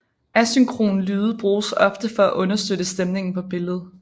Asynkron lyde bruges ofte for at understøtte stemningen på billedet